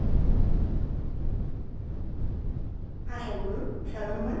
হ্যাঁ sir বলুন seven one